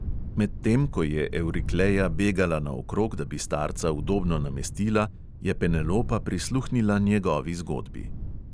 Medtem ko je evrikleja begala naokrog, da bi starca udobno namestila, je penelopa prisluhnila njegovi zgodbi.